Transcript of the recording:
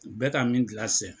U bɛ ka min gilan sisan.